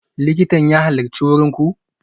Likitan ya halarci wurin ku?